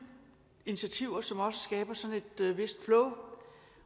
initiativer som også skaber sådan et vist flow